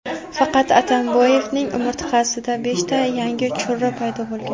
faqat Atamboyevning umurtqasida beshta yangi churra paydo bo‘lgan.